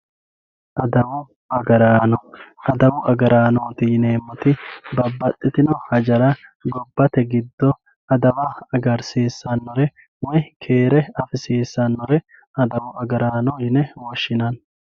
Adawu agaraano adawu agaranoti yineemoti mite hajara gobate gido adawa agarisisanore woyi keere afisisanore adawu agaraano yine woshinanni.